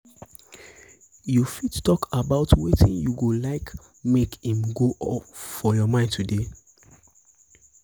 you fit um talk about wetin you go like make im go off your mind today?